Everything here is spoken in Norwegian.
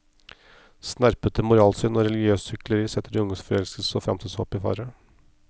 Snerpete moralsyn og religiøst hykleri setter de unges forelskelse og fremtidshåp i fare.